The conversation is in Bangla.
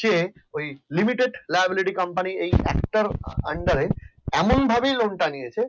সে ওই limited libarity company একটার আন্ডারে এমন ভাবেই lone টা নিয়েছে।